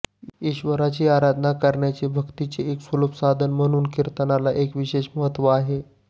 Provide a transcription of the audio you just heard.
ईश्वराची आराधना करण्याचे भक्तीचे एक सुलभ साधन म्हणून कीर्तनाला एक विशेष महत्त्व आहे